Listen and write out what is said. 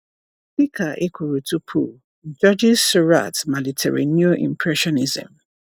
Dị ka e kwuru tupu, Georges Seurat malitere Neo-Impressionism.